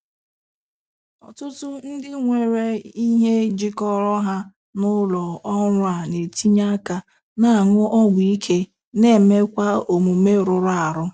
Ọtụtụ ndị nwere ihe jikọrọ ha n'ụlọ ọrụ a na-etinye aka na-aṅụ ọgwụ ike na emekwa omume rụrụ arụ.